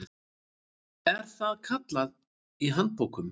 er það kallað í handbókum.